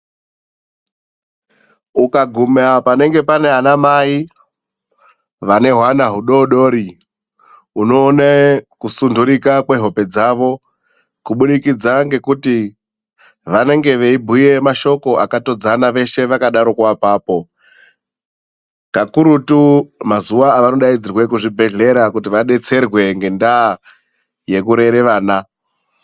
Ukaguma panenge pana vana mai, vane hwana udoodori unoone kusundurika kwehope dzavo kuburikidza ngokuti vanenge veibhuye mashoko akatodzana veshe vakadaroko apapo. Kakurutu mazuva avanodaidzirwe kuzvibhedhlera kuti vadetserwe ngendaa yekurere vana .